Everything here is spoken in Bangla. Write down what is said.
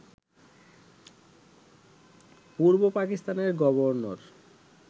পূর্ব পাকিস্তানের গভর্নর